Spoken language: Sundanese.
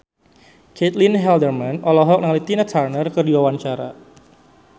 Caitlin Halderman olohok ningali Tina Turner keur diwawancara